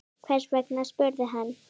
Hvers vegna? spurði hann.